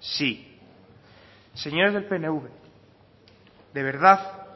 sí señores del pnv de verdad